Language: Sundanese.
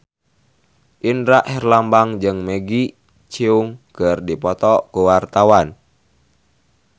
Indra Herlambang jeung Maggie Cheung keur dipoto ku wartawan